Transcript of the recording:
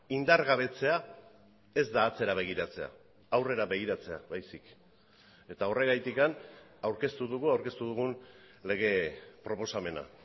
indargabetzea ez da atzera begiratzea aurrera begiratzea baizik eta horregatik aurkeztu dugu aurkeztu dugun lege proposamena